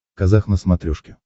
казах на смотрешке